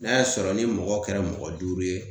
N'a y'a sɔrɔ ni mɔgɔ kɛra mɔgɔ duuru ye